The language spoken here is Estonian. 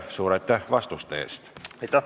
Suur aitäh vastuste eest!